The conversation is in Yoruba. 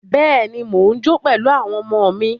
Bẹ́ẹ̀ni, mo jó pẹ̀lú àwọn ọmọ mí.